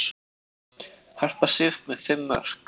Harpa Sif með fimm mörk